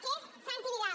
que és santi vidal